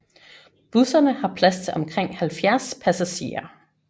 Busserne har plads til omkring 70 passagerer